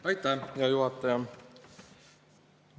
Aitäh, hea juhataja!